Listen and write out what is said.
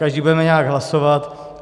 Každý budeme nějak hlasovat.